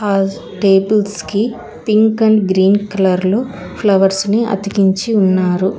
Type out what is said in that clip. All tables కి pink and green colour లో flowers ని అతికించి ఉన్నారు.